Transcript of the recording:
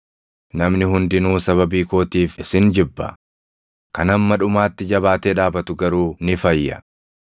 Namni hundinuu sababii kootiif isin jibba; kan hamma dhumaatti jabaatee dhaabatu garuu ni fayya.